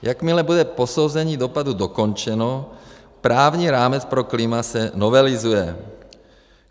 Jakmile bude posouzení dopadů dokončeno, právní rámec pro klima se novelizuje.